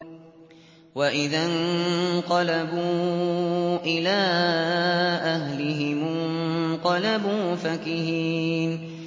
وَإِذَا انقَلَبُوا إِلَىٰ أَهْلِهِمُ انقَلَبُوا فَكِهِينَ